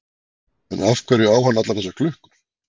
En af hverju á hann allar þessar klukkur?